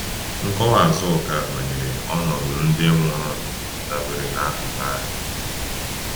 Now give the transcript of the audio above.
Nkọwa Azụka banyere ọnọdụ ndị nwụrụ dabere n’akụkọ ahụ.